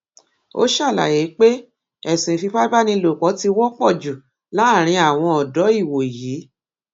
ó ṣàlàyé pé ẹsùn ìfipábánilòpọ ti wọpọ jù láàrin àwọn ọdọ ìwòyí